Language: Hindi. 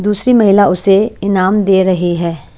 दूसरी महिला उसे ईनाम दे रही है।